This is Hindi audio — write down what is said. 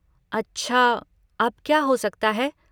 अच्छा, अब क्या हो सकता है?